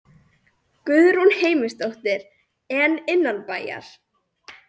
Guðrún Heimisdóttir: En innanbæjar?